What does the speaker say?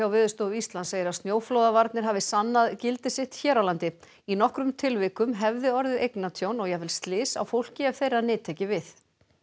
Veðurstofu Íslands segir að snjóflóðavarnir hafi sannað gildi sitt hér á landi í nokkrum tilvikum hefði orðið eignatjón og jafnvel slys á fólki ef þeirra nyti ekki við